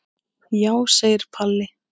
Já, segir Palli.